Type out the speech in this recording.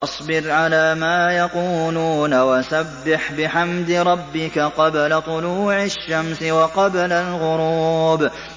فَاصْبِرْ عَلَىٰ مَا يَقُولُونَ وَسَبِّحْ بِحَمْدِ رَبِّكَ قَبْلَ طُلُوعِ الشَّمْسِ وَقَبْلَ الْغُرُوبِ